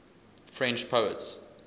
french poets